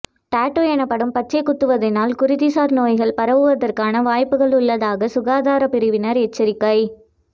TET எனப்படும் பச்சை குத்துவதனால் குருதி சார் நோய்கள் பரவுவதற்கான வாய்ப்புக்கள் உள்ளதாக சுகாதார பிரிவினர் எச்சரிக்கை